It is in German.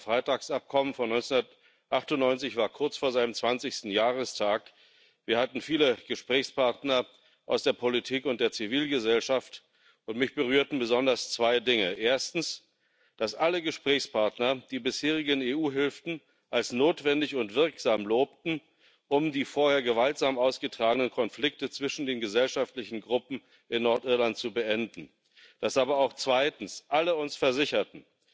Das Karfreitagsabkommen von 1998 war kurz vor seinem zwanzigsten Jahrestag. Wir hatten viele Gesprächspartner aus der Politik und der Zivilgesellschaft, und mich berührten besonders zwei Dinge erstens, dass alle Gesprächspartner die bisherigen EU Hilfen als notwendig und wirksam lobten, um die vorher gewaltsam ausgetragenen Konflikte zwischen den gesellschaftlichen Gruppen in Nordirland zu beenden, dass uns aber auch zweitens alle versicherten,